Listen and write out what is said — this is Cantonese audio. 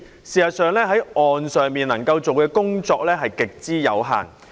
事實上，政府在岸上能夠做的工作極之有限。